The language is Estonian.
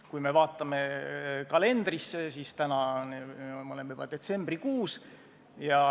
Kui me vaatame kalendrisse, siis täna me oleme juba detsembrikuus.